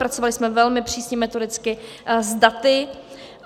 Pracovali jsme velmi přísně metodicky s daty.